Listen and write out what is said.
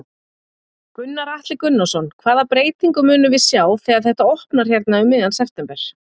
Gunnar Atli Gunnarsson: Hvaða breytingu munum við sjá þegar þetta opnar hérna um miðjan september?